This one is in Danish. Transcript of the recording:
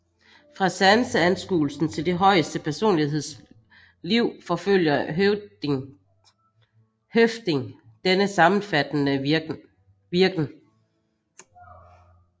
Fra sanseanskuelsen til det højeste personlighedsliv forfølger Høffding denne sammenfattende virken